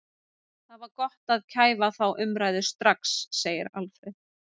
Það var gott að kæfa þá umræðu strax, segir Alfreð.